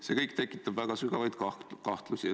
See kõik tekitab väga sügavaid kahtlusi.